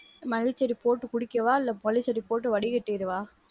மல்லி செடி போட்டு குடிக்கவா? இல்ல மல்லி செடி போட்டு வடிகட்டிடவா?